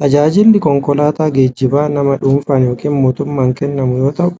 Tajaajilli konkolaataa geejjiba nama dhuunfaan yookiin mootummaan kennamu yoo ta'u,